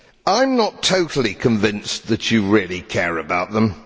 I am not totally convinced that you really care about them.